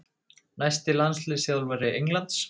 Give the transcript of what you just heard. Næsti landsliðsþjálfari Englands?